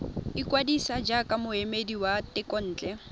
ikwadisa jaaka moemedi wa thekontle